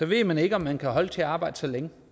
ved man ikke om man kan holde til at arbejde så længe